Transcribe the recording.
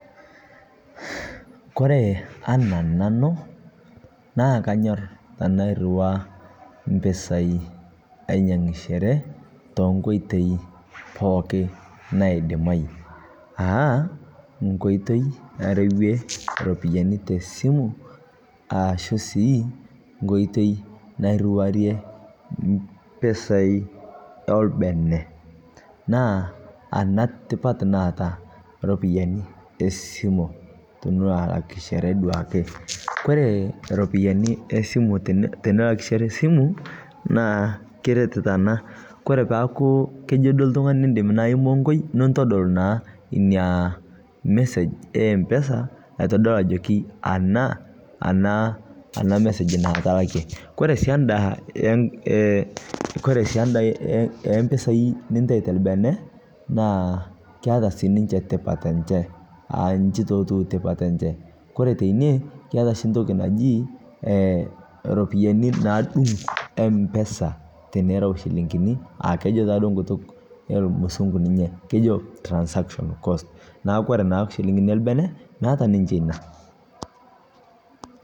Kore ana nanuu naa kanyor tanairua, mpisai ainyeng'ishere tenkoitei pooki naidimai aa nkoitei arewie ropiyanii tesimu aashuu sii nkoitei nairuwarie mpisai elbene naa ana tipat naata ropiyani esimo tiniloo alakishere duake. Kore ropiyani esimu tinilakishere simuu naa kiret tanaa, Kore peaku kejo duo ltungani indim naa imonkoi nintodol naa inia message e mpesa aitodol ajokii anaa, ana message naa atalakie kore naa sii andaa ee kore sii anda empisai nintai telbenee naa keata sii ninshe tipat enshee aa nchii taa etuu tipat enshe Kore teinie keata shi ntoki najii e ropiyani naadung' mpesa tinirau shilinginii aakejo taaduo nkutuk elmusung'u ninye kejo transaction cost naaku Kore naa silinkini elbene meata ninshe inia.